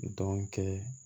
Dɔnke